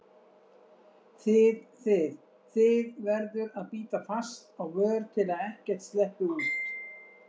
þið þið, þið- verður að bíta fast á vör til að ekkert sleppi út.